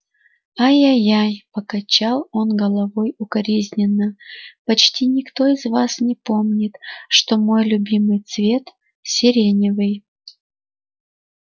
ай-яй-яй покачал он головой укоризненно почти никто из вас не помнит что мой любимый цвет сиреневый